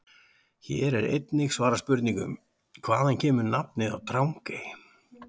Hér er einnig svarað spurningunum: Hvaðan kemur nafnið á Drangey?